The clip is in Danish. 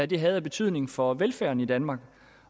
det havde af betydning for velfærden i danmark